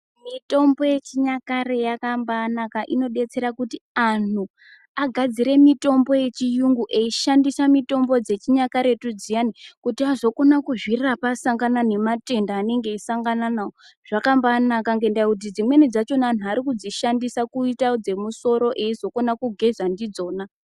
Mitombo ye chinyakare yakambai naka inodetsera kuti anhu agadzire mitombo ye chiyungu eyi shandisa mitombo dze chinyakaretu dziyani kuti azokona kuzvitarapa asangana ne matenda anenge eyi sangana nawo zvakambai naka ngenda yekuti dzimwe dzachona anhu ari kudzishandisa kuita dze musoro eizo kona kugeza ndidzona.